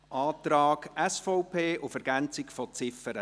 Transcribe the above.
Zum Antrag SVP auf Ergänzung der Ziffer